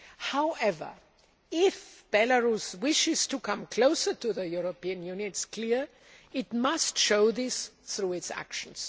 However, if Belarus wishes to come closer to the EU, it is clear it must show this through its actions.